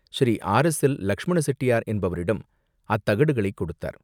Sri RSL. Lakshmana Chettiar என்பவரிடம் அத்தகடுகளைக் கொடுத்தார்.